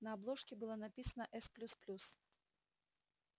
на обложке было написано с плюс плюс